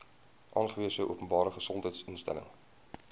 aangewese openbare gesondheidsinstelling